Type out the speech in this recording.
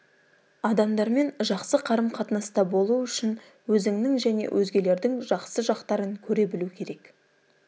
адамдармен жақсы қарым қатынаста болу үшін өзіңнің және өзгелердің жақсы жақтарын көре білу керек